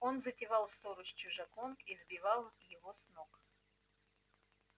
он затевал ссору с чужаком и сбивал его с ног